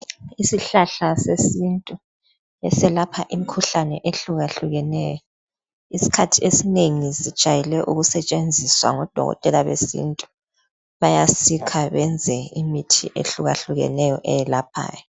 Isihlahla sesintu eselapha imikhuhlane ehlukahlukeneyo isikhathi esinengi sijayele ukusetshenziswa ngodokotela besintu bayasikha benze imithi ehlukahlukeneyo eyelaphayo.